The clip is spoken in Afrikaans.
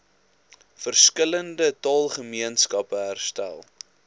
verskillende taalgemeenskappe herstel